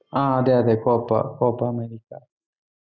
ആഹ് അതെ അതെ copa copa America